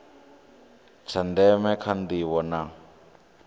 tsha ndeme kha ndivho na